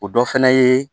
O dɔ fɛnɛ ye